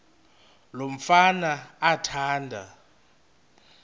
lo mfana athanda